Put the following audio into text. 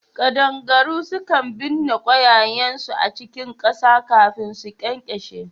Kadangaru sukan binna kwayayensu a cikin kasa kafin su ƙyanƙyashe